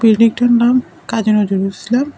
বিল্ডিংটার নাম কাজী নজরুল ইসলাম।